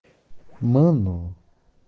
мы ну